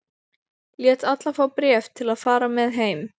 Lét alla fá bréf til að fara með heim.